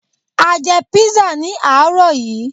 À jẹ písà ní àárọ̀ yií